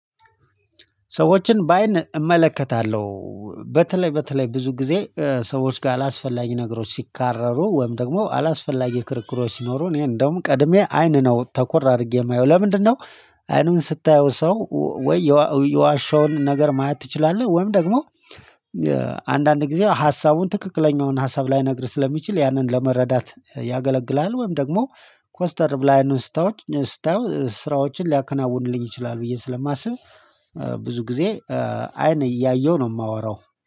ሰዎችን በአይን እመለከታለሁ። በተለይ በተለይ ብዙ ጊዜ ሰዎች ጋር አላስፈላጊ ነገሮች ሲካረሩ ወይም ደግሞ አላስፈላጊ ክርክሮች ሲኖሩ እኔ እንደውም ቀድሜ አይን ነው ተኮር አድርጌ የማየው ለምንድነው? አይኑን ስታየው ሰው ወይ የዋሸውን ነገር ማየት ትችላለህ ወይም ደግሞ ጊዜ ሀሳቡን ትክክለኛውን ሀሳብ ላይነግርህ ስለሚችል ያንን ለመረዳት ያገለግላል። ወይም ደግሞ ኮስተር በለህ አይኑን ስታየው ስራዎችን ሊያከናውኑልኝ ይችላል ብዬ ስለማስብ ብዙ ጊዜ አይን እያየሁ ነው የማወራው